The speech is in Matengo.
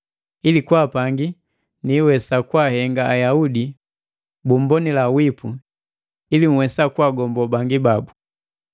ili kwaa pangi, niiwesa kwaahenga Ayaudi bummbonila wipu, ili nhwesa kwaagombo bangi babu.